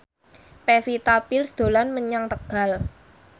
Pevita Pearce dolan menyang Tegal